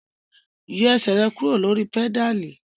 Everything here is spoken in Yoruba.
Yọ ẹsẹ rẹ kuro lori pedali!